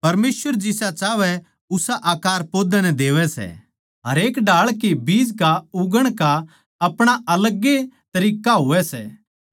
परमेसवर जिसा चाहवै उसा आकार पौधे नै देवै सै हरेक ढाळ के बीज का उगण का आपणा अलग ए तरिक्कां होवै सै